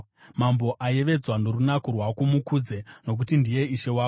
Mambo ayevedzwa norunako rwako; mukudze, nokuti ndiye Ishe wako.